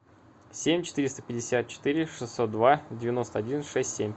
семь четыреста пятьдесят четыре шестьсот два девяносто один шесть семь